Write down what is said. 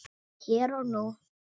Hér og nú.